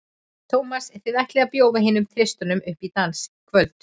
Tómas, þið ætlið að bjóða hinum þristinum upp í dans í kvöld?